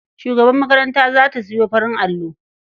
Shugabar makaranta za ta sayo farin allo.